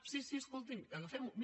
sí sí escolti’m agafem ho